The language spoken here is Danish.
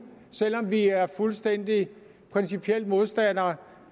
selv om vi er fuldstændig principielt modstandere